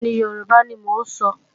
Bẹ́ẹ̀ni, Yorùbá ni mò ń sọ.